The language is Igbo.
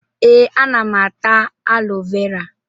Ee, ana m ata alo vera.